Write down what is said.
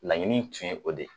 Laɲini in tun ye o de.